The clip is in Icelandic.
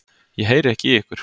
Ég heyri ekki í ykkur.